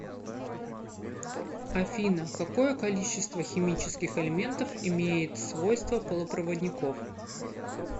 афина какое количество химических элементов имеет свойства полупроводников